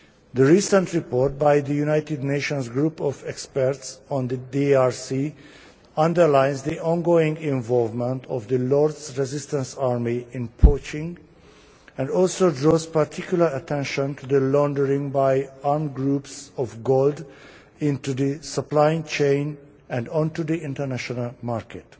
The recent report by the United Nations group of experts on the DRC underlines the ongoing involvement of the Lord's Resistance Army in poaching, and also draws particular attention to the laundering by armed groups of gold into the supply chain and onto the international market.